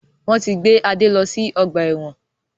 Wọn tí gbé Adé lọ sí ọgbà ẹ̀wọ̀n